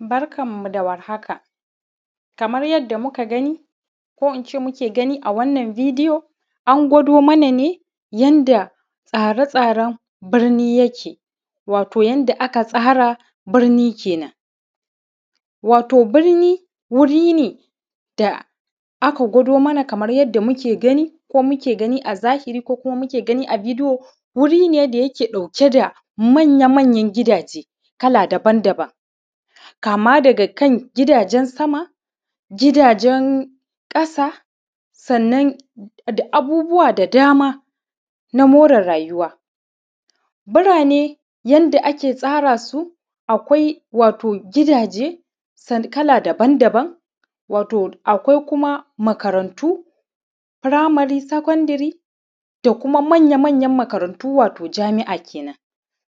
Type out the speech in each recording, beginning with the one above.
Barkanmu da warhaka kama yada muka gani ko in ce muke gani a wannan bidiyo an gwado mana ne yadda tsare tsaren birni yake wato yanda aka tsara birni kenan wato birni wuri ne da aka gwado mana kama yadda muke gani a zahiri ko muke gani a bidiyo wuri ne wanda yake ɗauke da manya-manyan gidaje kala daba-daba kama daga kan gidajen sama gidajen ƙasa sannan da abubuwa da dama na mure rayuwa burane yanda ake tsara su akwai wato gidaje sama kala daban-daban wato akwai kuma makatantu firamari sekondare da kuma manya-manyan makarantu wato jami’a kenan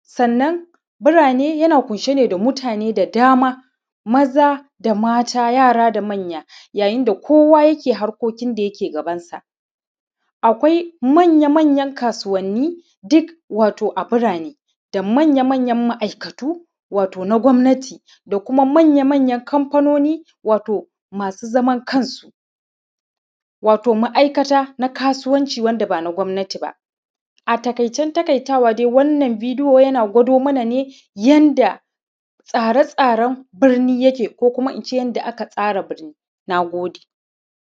sanna burane na ƙunshe ne da mutane da dama maza da mata yara da manya yayin da kowa yake harkokin gabansu akwai manya-manya kasuwanni duk wato a birane da manya-manya ma’aikatu wato na gowmati da kuma manya-manyan kanfanuni wato masu zaman kansu wato ma’aikata na kasuwanci wanda ba na gowmati ba a taƙaitan taƙaitawa wannan bidiyo yana gwado mana ne yanda tsare-tsaren birni yake ko ko in ce yanda aka tsara birni na gode